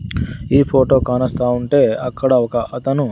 ఈ ఫోటో కానస్తా ఉంటే అక్కడ ఒక అతను--